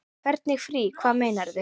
Hvernig frí. hvað meinarðu?